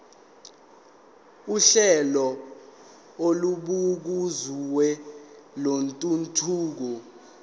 uhlelo olubukeziwe lwentuthuko